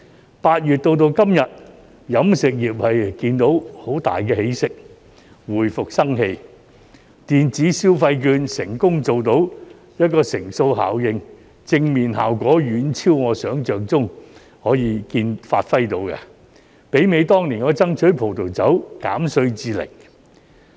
由8月至今日，飲食業看到有很大起色，回復生氣，電子消費券成功做到乘數效應，正面效果遠超我想象中可以發揮到的，媲美當年我爭取葡萄酒稅減至零。